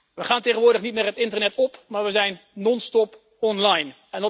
We gaan tegenwoordig niet meer het internet op, maar we zijn non-stop online.